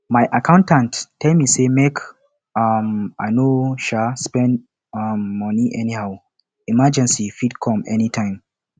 my accountant tell me sey make um i no um spend um moni anyhow emergency fit come anytime